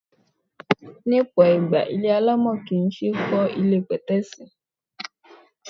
Ní ọ̀pọ̀ ìgbà, ilé alámọ̀ kì ń ṣe é kó ilé pẹ̀tẹ́ẹ̀sì.